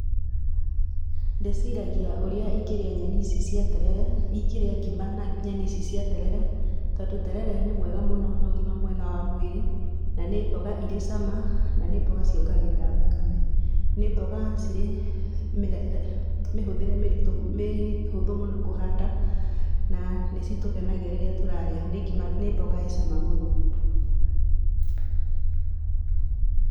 Ndĩciragia ũrĩa ingĩrĩa nyeni ici cia terere, ingĩrĩa ngima na nyeni ici cia terere, tondũ terere nĩ mwega mũno na ũgima mwega wa mwĩrĩ, na nĩ mboga Irĩ cama na nĩ mboga ciongagĩrĩra thakame. Nĩ mboga cirĩ mĩhũthĩre mĩritũ, mĩhũthũ mũno kũhanda, na nĩ citũkenagia mũno rĩrĩa tũrarĩa. Nĩ mboga ĩ cama mũno.